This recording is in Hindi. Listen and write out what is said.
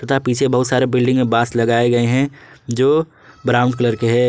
तथा पीछे बहुत सारे बिल्डिंग में बांस लगाए गए हैं जो ब्राउन कलर के है।